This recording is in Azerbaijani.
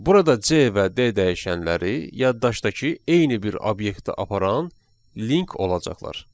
Burada C və D dəyişənləri yaddaşdakı eyni bir obyektə aparan link olacaqlar.